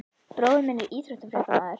Bróðir minn er íþróttafréttamaður.